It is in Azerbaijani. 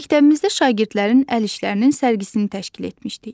Məktəbimizdə şagirdlərin əl işlərinin sərgisini təşkil etmişdik.